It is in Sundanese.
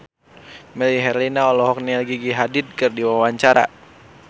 Melly Herlina olohok ningali Gigi Hadid keur diwawancara